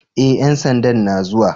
E, ƴan sandan na zuwa.